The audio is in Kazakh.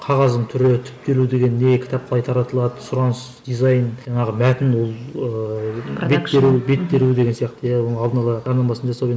қағаздың түрі түптелу деген не кітап қалай таратылады сұраныс дизайн жаңағы мәтін ол ыыы бет теру бет теру деген сияқты иә алдын ала жарнамасын жасау